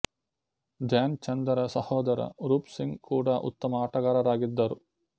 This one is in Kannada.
ಧ್ಯಾನ್ ಚಂದರ ಸಹೊದರ ರೂಪ್ ಸಿಂಗ್ ಕೂಡ ಉತ್ತಮ ಆಟಗಾರರಾಗಿದ್ದರು